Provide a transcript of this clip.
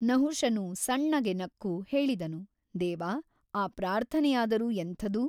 ನಹುಷನು ಸಣ್ಣಗೆ ನಕ್ಕು ಹೇಳಿದನು ದೇವ ಆ ಪ್ರಾರ್ಥನೆಯಾದರೂ ಎಂಥದು ?